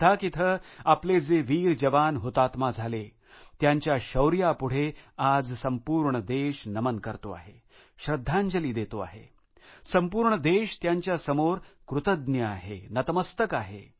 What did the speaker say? लद्दाख इथं आपले जे वीर जवान हुतात्मा झाले त्यांच्या शौर्यापुढे आज संपूर्ण देश नमन करतो आहे श्रद्धांजली देतो आहे संपूर्ण देश त्यांच्यासमोर कृतज्ञ आहे नतमस्तक आहे